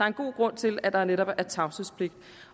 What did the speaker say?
en god grund til at der netop er tavshedspligt